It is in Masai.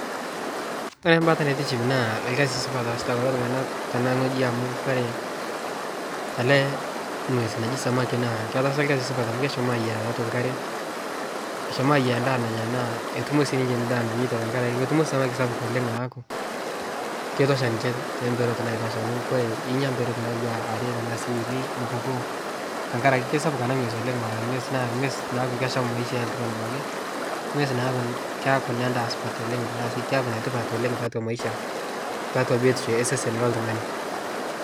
Kore mbata naitiship naa lkazi supat oasita kuloo tung'ana tene ng'oji amu Kore ale ng'wez naji samaki naa ketaasa lkazi supat amu keshomoo aiyaa taatua nkaree eshomo aiyaa ndaa nanyaa naa etumo sii ninshe ndaa nanyeita naa tankarakee samaki sapuk oleng' laaku keitosha ninshe temperot naikash inya mperot natuwaa aree tanaa sii unii mupukoo tankarakee keisapuk anaa ngwez oleng' naa ngwez naaku kesham abaki maisha eltung'ani abaki ngwez naaku keaku nendaa supat tanaa sii keaku netipat oleng taatua maisha taatua biotisho esesen loltung'ani